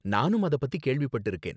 நானும் அத பத்தி கேள்விப்பட்டிருக்கேன்